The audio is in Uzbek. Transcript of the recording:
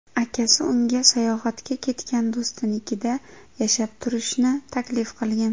Akasi unga sayohatga ketgan do‘stinikida yashab turishni taklif qilgan.